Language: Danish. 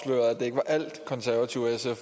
se